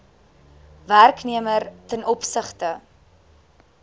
werknemer ten opsigte